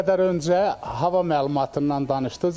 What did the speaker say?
Bir qədər öncə hava məlumatından danışdınız.